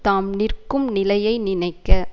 தாம் நிற்கும் நிலையை நினைக்க